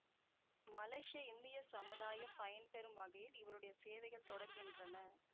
மலேசிய இந்திய சமுதாயம் பயன் பெறும் வகையில் இவருடைய சேவைகள் தொடர்கின்றன